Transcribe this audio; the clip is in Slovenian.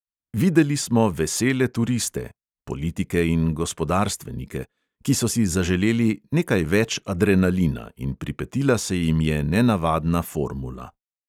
Videli smo vesele turiste (politike in gospodarstvenike), ki so si zaželeli "nekaj več adrenalina", in pripetila se jim je nenavadna formula.